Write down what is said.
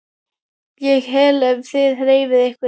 ÉG HELLI EF ÞIÐ HREYFIÐ YKKUR!